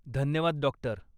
धन्यवाद, डॉक्टर.